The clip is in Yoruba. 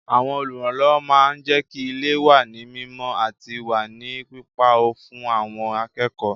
Àwọn Olùrànlọ́wọ́ máa ń jẹ́kí ilé wà ní mímọ àti wà ní pípa ọ́ fún àwọn akẹ́kọ̀ọ́